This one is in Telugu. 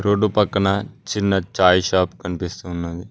రోడ్డు పక్కన చిన్న చాయ్ షాప్ కన్పిస్తూ ఉన్నది.